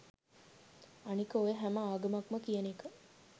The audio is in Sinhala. අනික ඔය “හැම ආගමක්ම” කියන එක